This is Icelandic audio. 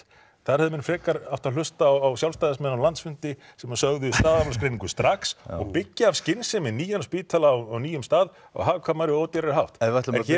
þar hefðu menn frekar átt að hlusta á sjálfstæðismenn á landsfundi sem sögðu staðargreiningu strax og byggja af skynsemi nýjan spítala á nýjum stað á hagkvæmari og ódýrari hátt en hér